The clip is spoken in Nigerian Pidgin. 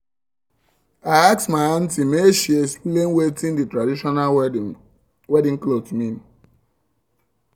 i ask my aunty make she um um explain watin um the traditional wedding clothes mean